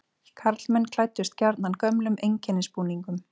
Karlmenn klæddust gjarnan gömlum einkennisbúningum.